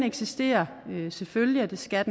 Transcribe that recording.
eksisterer selvfølgelig og det skal